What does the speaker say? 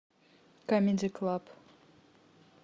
камеди клаб